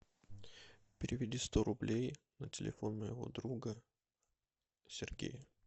переведи сто рублей на телефон моего друга сергея